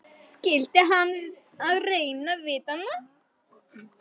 Skyldi hann vera að reyna við hana?